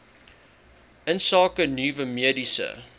insake nuwe mediese